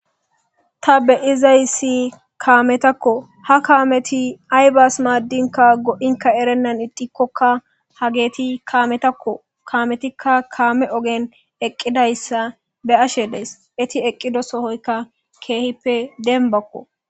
Ta be izayssi kaametakko ha kaameti aybas maaddinka go7inka erennan idikkokka ha geeti kaametakko kaametikka kaame ogen eqqidayssa be ashe dees eti eqqido sohoyka keehippe denbakko.